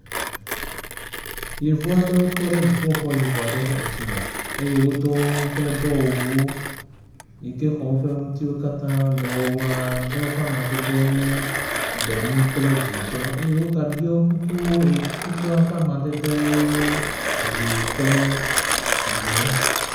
Yevu aɖewo tɔ ɖe dziƒoxɔ yibɔ aɖe ƒe ŋkume eye wodo woƒe dɔwɔwuwo yi ke xɔ woƒe ŋutiwo katã. Dɔwɔwɔwo ƒe amadede ye nye gbemu kple dzitɔ eye woga ɖɔ kukuwo eye kukua ƒe amadedewoe nye ʋi kple dzi